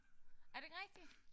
Er det ikke rigtigt?